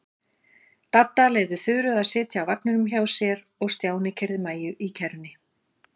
Dadda leyfði Þuru að sitja á vagninum hjá sér og Stjáni keyrði Maju í kerrunni.